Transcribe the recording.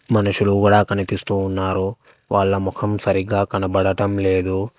మనుషులు కూడా కనిపిస్తూ ఉన్నారు వాళ్ళ ముఖం సరిగ్గా కనబడటం లేదు.